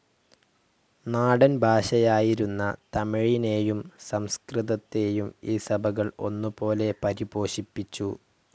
നാടൻ ഭാഷയായിരുന്ന തമിഴിനെയും സംസ്കൃതത്തെയും ഈ സഭകൾ ഒന്നുപോലെ പരിപോഷിപ്പിച്ചു.